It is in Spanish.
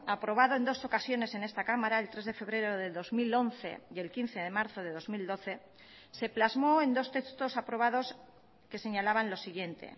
aprobado en dos ocasiones en esta cámara el tres de febrero de dos mil once y el quince de marzo de dos mil doce se plasmó en dos textos aprobados que señalaban lo siguiente